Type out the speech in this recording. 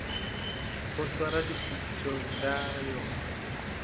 go swara dipitšo tša yona